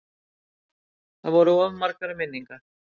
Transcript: Það voru of margar minningar.